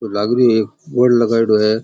लाग रो एक बोर्ड लगाइडो है।